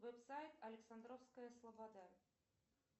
веб сайт александровская слобода